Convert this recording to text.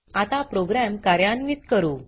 आता प्रोग्राम कार्यान्वीत करू